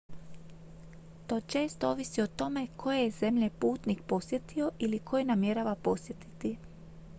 to često ovisi o tome koje je zemlje putnik posjetio ili koje namjerava posjetiti